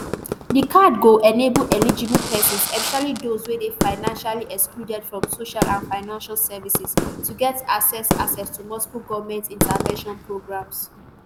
di card go enable eligible pesins especially those wey dey financially excluded from social and financial services to get access access to multiple goment interventions programs